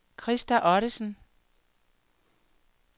Krista Ottesen